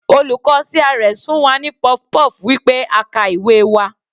Olùkọ́ CRS fún wa ní puff-puff wí pé a ka ìwé wa.